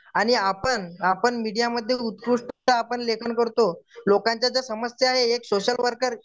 आणि आपण, आपन मीडियामध्ये आपण लेखन करतो लोकांच्या त्या एक समस्या आहे एक सोशल वर्कर